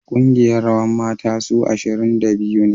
Kungiyar rawan mata su ashirin da biyu ne